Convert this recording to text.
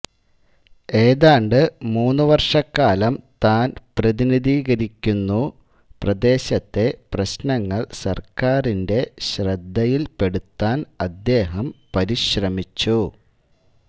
ഏതാണ്ട് മൂന്നുവർഷക്കാലം താൻ പ്രതിനിധീകരിക്കുന്നു പ്രദേശത്തെ പ്രശ്നങ്ങൾ സർക്കാരിന്റെ ശ്രദ്ധയിൽപ്പെടുത്താൻ അദ്ദേഹം പരിശ്രമിച്ചു